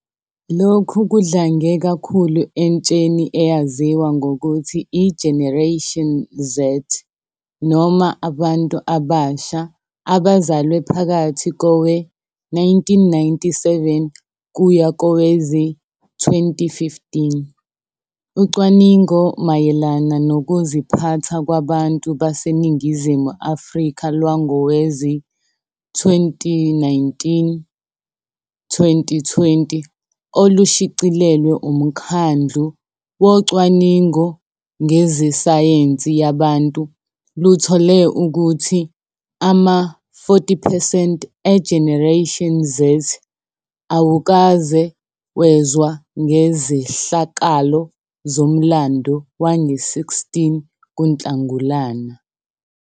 Lokhu kudlange kakhulu entsheni eyaziwa ngokuthi i-Generation Z, noma abantu abasha abazalwe phakathi kowe-1997 kuya kowezi-2015. Ucwaningo mayelana Nokuziphatha Kwabantu BaseNingizimu Afrika lwangowezi-2019 - 2020 olushicilelwe uMkhandlu Wocwaningo Ngezesayensi Yabantu luthole ukuthi ama-40 percent e-Generation Z awukaze wezwa ngezehlakalo zomlando wange-16 kuNhlangulana.